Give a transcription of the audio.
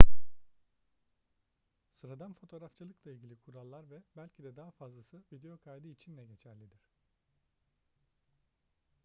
sıradan fotoğrafçılıkla ilgili kurallar ve belki de daha fazlası video kaydı için de geçerlidir